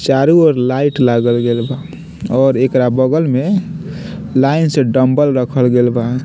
चारु ओर लाइट लागल गेल बा और एकरा बगल में लाइन से डंबल रखल गेल बा।